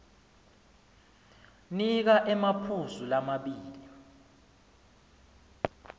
nika emaphuzu lamabili